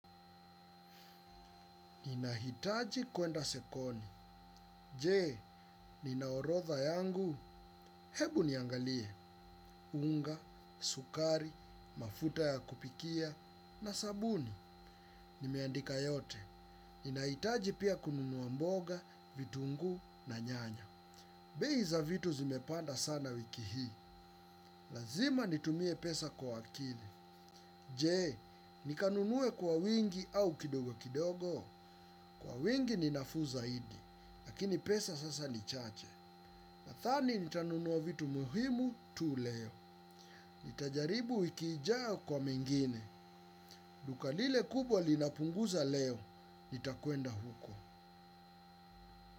Ninahitaji kuenda sokoni je nina orodha yangu? Hebu niangalie. Unga, sukari, mafuta ya kupikia, na sabuni. Nimeandika yote ninahitaji pia kununua mboga vitunguu na nyanya. Bei za vitu zimepanda sana wiki hii. Lazima nitumie pesa kwa akili. Je, nikanunue kwa wingi au kidogo kidogo. Kwa wingi ninafuu zaidi. Lakini pesa sasa nichache. Nadhani nitanunua vitu muhimu tu leo. Nitajaribu wiki ijayo kwa mengine. Duka lile kubwa linapunguza leo. Nitakwenda huko.